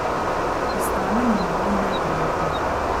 Postane mi malo neprijetno.